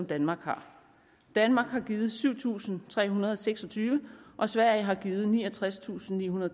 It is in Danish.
danmark har danmark har givet syv tusind tre hundrede og seks og tyve og sverige har givet niogtredstusinde